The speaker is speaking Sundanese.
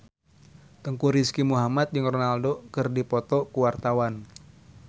Teuku Rizky Muhammad jeung Ronaldo keur dipoto ku wartawan